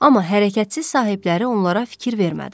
Amma hərəkətsiz sahibləri onlara fikir vermədi.